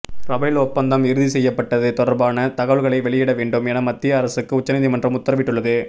Rafale ஒப்பந்தம் இறுதி செய்யப்பட்டது தொடர்பான தகவல்களை வெளியிட வேண்டும் என மத்திய அரசுக்கு உச்சநீதிமன்றம் உத்தரவிட்டுள்ளது